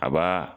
A b'a